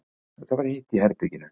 Það var heitt í herberginu.